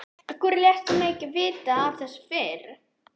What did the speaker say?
Af hverju léstu mig ekki vita af þessu fyrr?